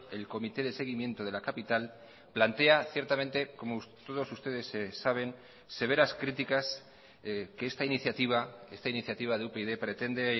el comité de seguimiento de la capital plantea ciertamente como todos ustedes saben severas críticas que esta iniciativa esta iniciativa de upyd pretende